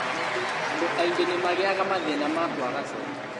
Andũ aingĩ nĩmagĩaga mathĩna ma kwaga toro